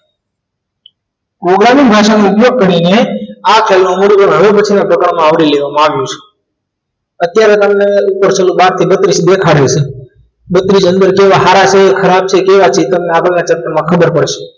Programming ભાષાનો ઉપયોગ કરીને આ ખ્યાલનો મૂળભૂત હવે પછીના પ્રકરણમાં આવરી લેવામાં આવે છે અત્યારે તમને ઉપર છેલ્લું બાર થી બત્રીશ દેખાડ્યું છે બત્રીશ અંદર કેવા છે સારા છે ખરાબ છે કેવા છે એ તમને આગળના chapter માં ખબર પડશે